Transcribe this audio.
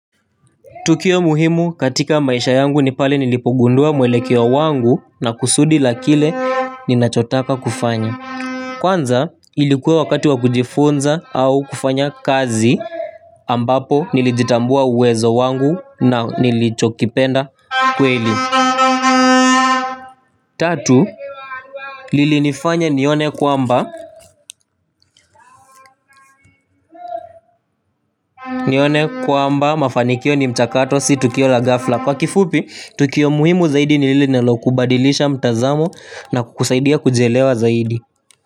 Tukio muhimu katika maisha yangu ni pale nilipogundua mwelekeo wangu na kusudi la kile ninachotaka kufanya. Kwanza ilikuwa wakati wa kujifunza au kufanya kazi ambapo nilijitambua uwezo wangu na nilichokipenda kweli. Tatu, lilinifanya nione kwamba, nione kwamba mafanikio ni mchakato si tukio la ghafla. Kwa kifupi, tukio muhimu zaidi ni lile linalokubadilisha mtazamo na kukusaidia kujielewa zaidi.